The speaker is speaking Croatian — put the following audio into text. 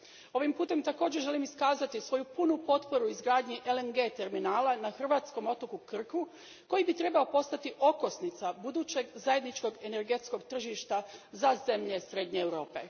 Ovim putem također želim iskazati svoju punu potporu izgradnji LNG terminala na hrvatskom otoku Krku koji bi trebao postati okosnica budućeg zajedničkog energetskog tržišta za zemlje srednje Europe.